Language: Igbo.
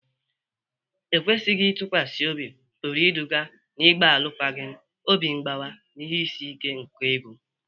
Ekwesịghi ntụkwasị obi pụrụ iduga n'ịgba alụkwaghịm, obi mgbawa, na ihe isi ike nke ego.